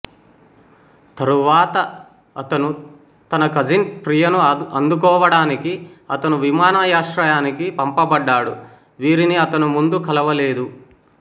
తరువాత అతను తన కజిన్ ప్రియను అందుకోవటానికి అతను విమానాశ్రయానికి పంపబడ్డాడు వీరిని అతను ముందు కలవలేదు